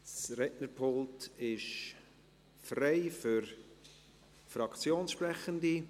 Das Rednerpult ist frei für Fraktionssprechende.